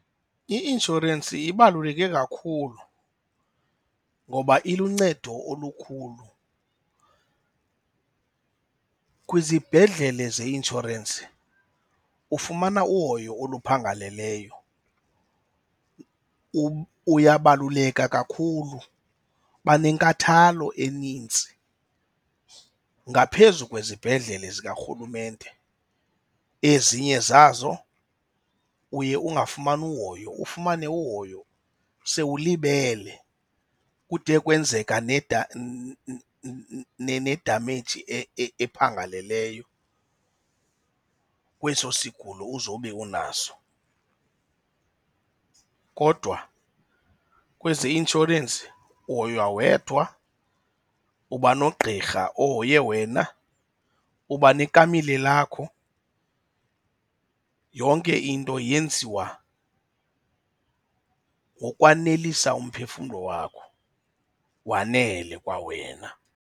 I-inshorensi ibaluleke kakhulu ngoba iluncedo olukhulu. Kwizibhedlele zeinshorensi ufumana uhoyo oluphangaleleyo, uyabaluleka kakhulu, banenkathalo enintsi ngaphezu kwizibhedlele zikarhulumente. Ezinye zazo uye ungafumani uhoyo, ufumane uhoyo sewulibele kude kwenzeka nedameyiji ephangaleleyo kweso sigulo uzobe unaso. Kodwa kwezi zeinshorensi uhoywa wedwa, uba nogqirha ohoye wena, uba nekamile lakho. Yonke into yenziwa ngokwanelisa umphefumlo wakho wanele kwawena.